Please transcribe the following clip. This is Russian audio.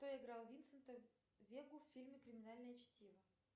кто играл винсента вегу в фильме криминальное чтиво